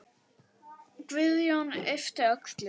Guðjón yppti öxlum.